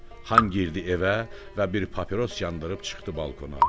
Xan girdi evə və bir papiros yandırıb çıxdı balkona.